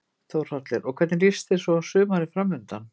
Þórhallur: Og hvernig líst þér svo á sumarið framundan?